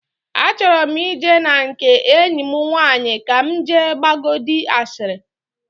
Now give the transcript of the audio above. Achọrọ m ije na nke enyi m nwaanyị ka m jee gbagodi ashịrị